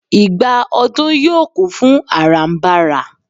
igba odù yíò kún fún arambara